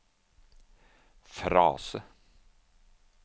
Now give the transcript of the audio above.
frase